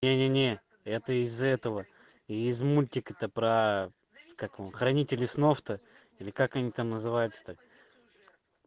не не не это из этого из мультика то про как его хранители снов то или как они там называются та